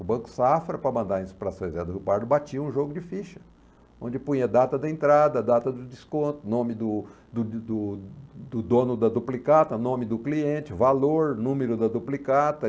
O Banco Safra, para mandar isso para São José do Rio Pardo, batia um jogo de ficha, onde punha data da entrada, data do desconto, nome do do do do do dono da duplicata, nome do cliente, valor, número da duplicata.